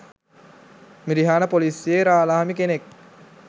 මිරිහාන පොලිසියේ රාළහාමි කෙනෙක්